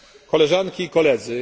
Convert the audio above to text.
Koleżanki i Koledzy!